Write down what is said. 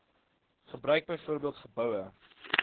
gebruik byvoorbeeld geboue